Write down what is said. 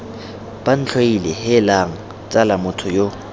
bantlhoile heelang tsala motho yo